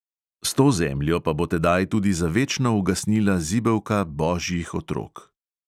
S to zemljo pa bo tedaj tudi za večno ugasnila zibelka božjih otrok.